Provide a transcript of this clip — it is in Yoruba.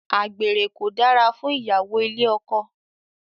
Àgbèrè kò dára fún ìyàwó ilé ọkọ.